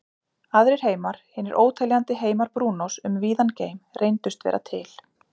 Aðrir heimar, hinir óteljandi heimar Brúnós um víðan geim, reyndust vera til.